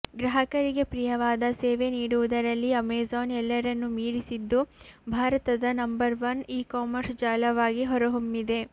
ಗ್ರಾಹಕರಿಗೆ ಪ್ರಿಯವಾದ ಸೇವೆ ನೀಡುವುದರಲ್ಲಿ ಅಮೆಜಾನ್ ಎಲ್ಲರನ್ನು ಮೀರಿಸಿದ್ದು ಭಾರತದ ನಂಬರ್ ವನ್ ಇ ಕಾಮರ್ಸ್ ಜಾಲವಾಗಿ ಹೊರಹೊಮ್ಮಿದೆ